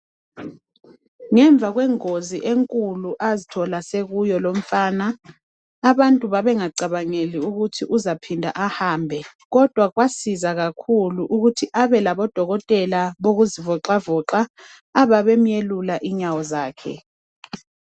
Ngemva kwengozi enkulu azithola sekuyo lumfana, abantu babengacabangeli ukuthi uzaphinda ahambe, kodwa kwasiza kakhulu ukuthi abe labodokotela bokuzivoxavoxa, ababemuyelula inyawo zakhe